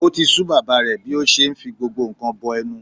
O ti sú bàbá rẹ̀ bí ó ṣe ń fi gbogbo nǹkan bọ ẹnu.